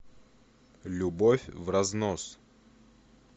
любовь вразнос